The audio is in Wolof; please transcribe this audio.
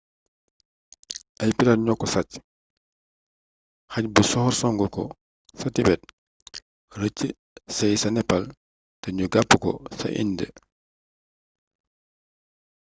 ay pirate ñoko sacc xaj bu soxor songu ko ca tibet rëc sëy ca nepal te nu jàpp ko ca indë